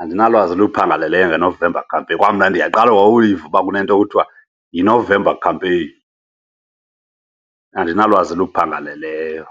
andinalwazi luphangaleleyo ngeNovember Campaign. Kwamna ndiyaqala uyiva uba kunento ekuthiwa yiNovember Campaign, andinalwazi luphangaleleyo.